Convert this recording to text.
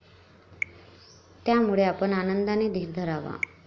त्यामुळे आपण आनंदाने धीर धरावा.